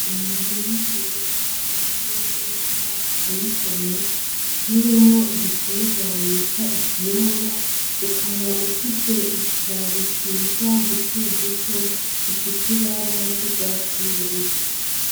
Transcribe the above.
Umurima mwiza, ubuye neza, uteye igomwe, utewemo igitengwa bita ikiyoba, ukaba ufise utubabi twiza duto duto dufise ibara ry’urwatsi rubisi.